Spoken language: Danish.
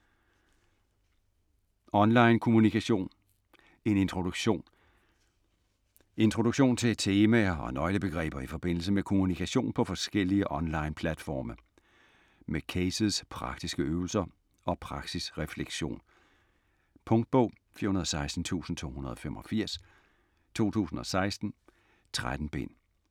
Online kommunikation: en introduktion Introduktion til temaer og nøglebegreber i forbindelse med kommunikation på forskellige online platforme. Med cases, praktiske øvelser og praksisreflektion. Punktbog 416285 2016. 13 bind.